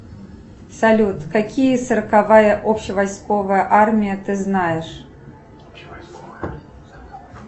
салют какие сороковая обще войсковая армия ты знаешь